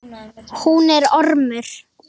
Hún er ormur.